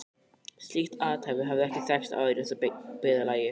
Slíkt athæfi hafði ekki þekkst áður í þessu byggðarlagi.